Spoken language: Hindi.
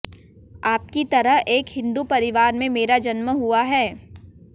आपकी तरह एक हिंदू परिवार में मेरा जन्म हुआ है